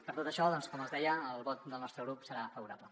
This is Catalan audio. per tot això doncs com els deia el vot del nostre grup serà favorable